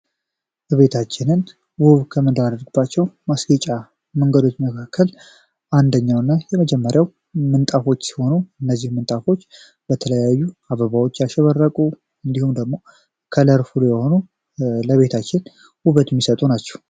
እቤታችንን መንገዶች መካከል ኛውና የመጀመሪያው ምንጣፎች ሲሆኑ እነዚህ ምንጣፎች በተለያዩ አበባዎች ያሸበረቁ እንዲሁም ደግሞ ከለር የሆኑ ለቤታችን ይሰጡ ናቸው